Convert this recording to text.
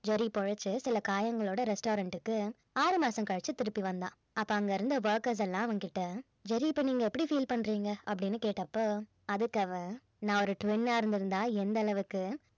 Jerry பொழைச்சு சில காயங்களோட restaurant க்கு ஆறு மாசம் கழிச்சு திருப்பி வந்தான் அப்ப அங்கிருந்த workers எல்லாம் அவன் கிட்ட ஜெர்ரி இப்ப நீங்க எப்படி feel பண்றீங்க அப்படின்னு கேட்ட அப்ப அதுக்கு அவன் நான் ஒரு twin ஆ இருந்திருந்தா எந்தளவுக்கு